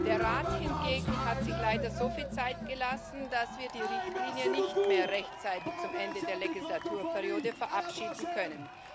Der Rat hingegen hat sich leider so viel Zeit gelassen, dass wir die Richtlinie nicht mehr rechtzeitig zum Ende der Legislaturperiode verabschieden können.